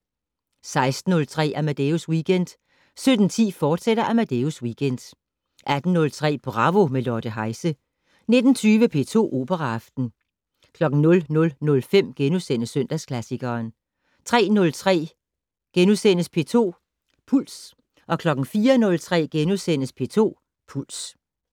16:03: Amadeus Weekend 17:10: Amadeus Weekend, fortsat 18:03: Bravo - med Lotte Heise 19:20: P2 Operaaften 00:05: Søndagsklassikeren * 03:03: P2 Puls * 04:03: P2 Puls *